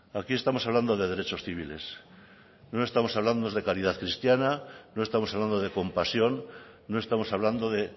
aquí estamos hablando de derechos civiles no estamos hablando de calidad cristiana no estamos hablando de compasión no estamos hablando de